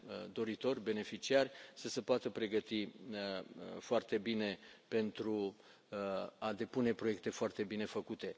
doritori, beneficiari să se poată pregăti foarte bine, pentru a depune proiecte foarte bine făcute.